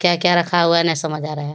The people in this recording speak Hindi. क्या रखा हुआ है न समझ आ रहा है ।